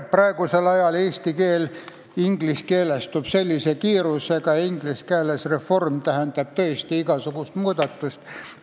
Praegusel ajal eesti keel ingliskeelestub suure kiirusega ja inglise keeles tähendab reform tõesti igasugust muudatust.